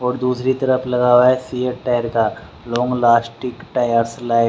और दूसरी तरफ लगा हुआ है सिएट टायर का लॉन्ग लास्टिंग टायर्स लाइक --